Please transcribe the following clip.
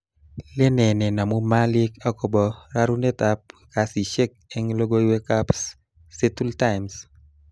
Lenee nenamu malik akobo rarunetab kasishek eng logoiwekab Seattle Times